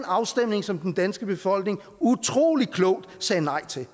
afstemning som den danske befolkning utrolig klogt sagde nej til